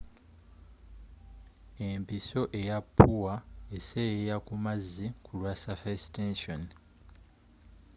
empiso eya ppuwa eseeyeeya ku mazzi kulwa surface tension